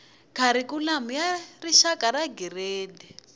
kharikhulamu xa rixaka xa tigiredi